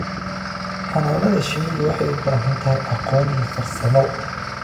Xannaanada shinnidu waxay u baahan tahay aqoon iyo farsamo.